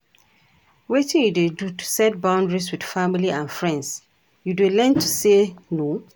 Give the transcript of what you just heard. Wetin you dey do to set boundaries with family and friends, you dey learn to say 'no'?